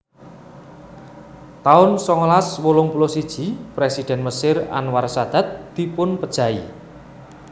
taun songolas wolung puluh siji Présidhèn Mesir Anwar Sadat dipunpejahi